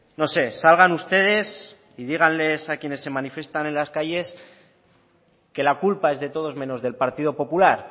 no sé salgan ustedes y díganles a quienes se manifiestan en las calles que la culpa es de todos menos del partido popular